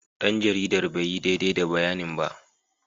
Dan jaridar bai yi daidai da bayanin ba.